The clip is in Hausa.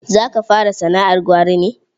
Za ka fara sana'ar gwari ne?